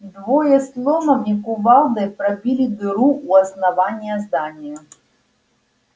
двое с ломом и кувалдой пробили дыру у основания здания